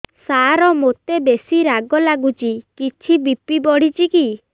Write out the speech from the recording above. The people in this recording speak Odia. ସାର ମୋତେ ବେସି ରାଗ ଲାଗୁଚି କିଛି ବି.ପି ବଢ଼ିଚି କି